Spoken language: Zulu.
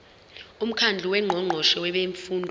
umkhandlu wongqongqoshe bemfundo